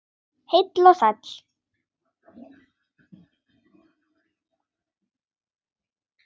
Heill og sæll!